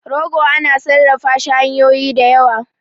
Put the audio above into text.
rogo ana sarrafa shi hanyoyin da yawa